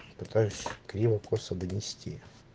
пытаюсь криво косо донести